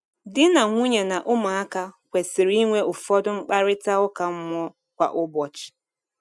Di na nwunye na ụmụaka kwesịrị inwe ụfọdụ mkparịta ụka mmụọ kwa ụbọchị.